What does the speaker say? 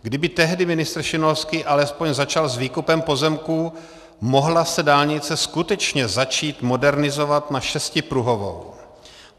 Kdyby tehdy ministr Šimonovský alespoň začal s výkupem pozemků, mohla se dálnice skutečně začít modernizovat na šestipruhovou.